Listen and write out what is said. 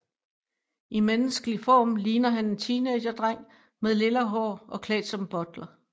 I menneskelig form ligner han en teenagedreng med lilla hår og klædt som butler